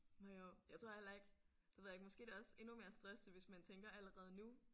Nåh jo jeg tror heller ikke det ved jeg ikke måske er det også endnu mere stressende hvis man tænker allerede nu